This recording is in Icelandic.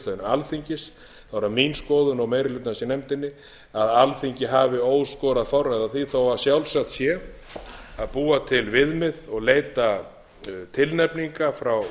alþingis er það mín skoðun og meiri hlutans í nefndinni að alþingi hafi óskorað forræði á því þó að sjálfsagt sé að búa til viðmið og leita tilnefninga frá